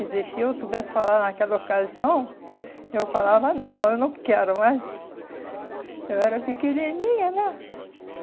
Quer dizer, se eu soubesse falar naquela ocasião, eu falava, não, eu não quero, mas eu era pequenininha, né?